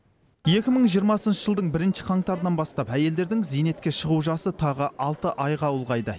екі мың жиырмасыншы жылдың бірінші қаңтарынан бастап әйелдердің зейнетке шығу жасы тағы алты айға ұлғайды